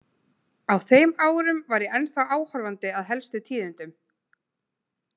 Á þeim árum var ég ennþá áhorfandi að helstu tíðindum.